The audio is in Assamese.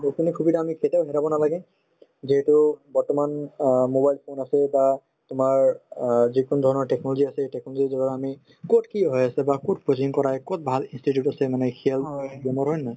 সুবিধা আমি কেতিয়াও হেৰাব নালাগে যিহেতু বৰ্তমান অ mobile phone আছে বা তোমাৰ অ যিকোনো ধৰণৰ technology আছে সেই technology ৰ জৰিয়তে আমি কত কি হৈ আছে বা কত coaching কৰাই কত ভাল institute আছে মানে জানিব পাৰো হয় নে নহয়